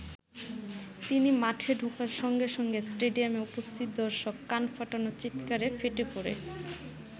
তিনি মাঠে ঢোকার সঙ্গে সঙ্গে স্টেডিয়ামে উপস্থিত দর্শক কান ফাটানো চিৎকারে ফেটে পড়ে।